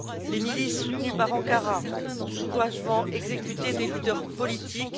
Les milices, soutenues par Ankara, ont sauvagement exécuté des leaders politiques.